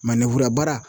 baara